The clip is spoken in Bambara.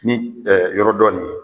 Ni yɔrɔ dɔ nin ye